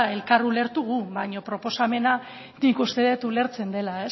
elkar ulertu gu baina proposamena nik uste dut ulertzen dela